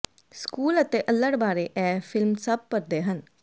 school ਅਤੇ ਅੱਲੜ ਬਾਰੇ ਇਹ ਫਿਲਮ ਸਭ ਭਰਦੇ ਹਨ